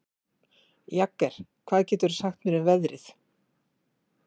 Jagger, hvað geturðu sagt mér um veðrið?